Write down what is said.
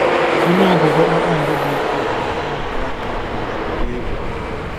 Ọnụ ọgụgụ kpakpando dị ukwuu na mbara mbara dị ukwuu na-akpali egwu.